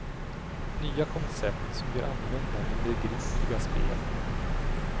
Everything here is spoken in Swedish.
Nya koncept som ger annorlunda men begripliga spel.